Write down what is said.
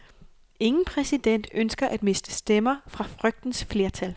Ingen præsident ønsker at miste stemmer fra frygtens flertal.